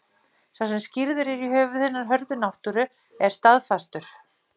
Sá sem skírður er í höfuð hinnar hörðu náttúru er staðfastur.